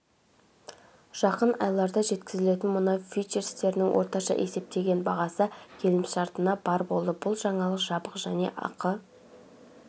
жақын айларда жеткізілетін мұнай фьючерстерінің орташа есептеген бағасы келісімшартына барр болды бұл жаңалық жабық және ақы